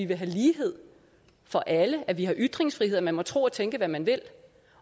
være lighed for alle at vi har ytringsfrihed og at man må tro og tænke hvad man vil